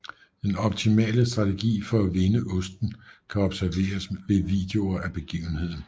Den optimale strategi for at vinde osten kan observeres ved videoer af begivenheden